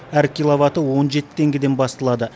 әр киловаты он жеті теңгеден басталады